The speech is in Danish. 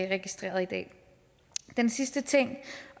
registreret i dag den sidste ting